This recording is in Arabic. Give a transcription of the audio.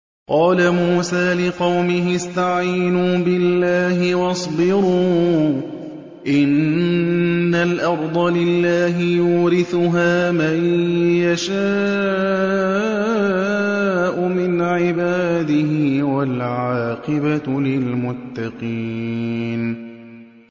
قَالَ مُوسَىٰ لِقَوْمِهِ اسْتَعِينُوا بِاللَّهِ وَاصْبِرُوا ۖ إِنَّ الْأَرْضَ لِلَّهِ يُورِثُهَا مَن يَشَاءُ مِنْ عِبَادِهِ ۖ وَالْعَاقِبَةُ لِلْمُتَّقِينَ